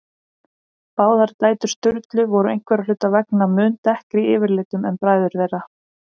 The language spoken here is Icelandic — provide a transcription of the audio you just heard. Báðar dætur Sturlu voru einhverra hluta vegna mun dekkri yfirlitum en bræður þeirra.